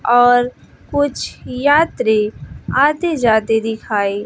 और कुछ यात्री आते जाते दिखाई--